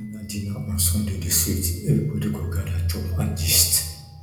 family dinner on sunday dey sweet everybody go gather chop and gist